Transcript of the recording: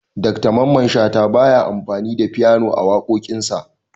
Dr mamman shata baya amfani da fyano a waƙoƙin sa